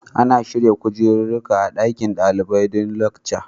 Ana shirya kujeruruƙa a ɗaƙin daliɓai don lekca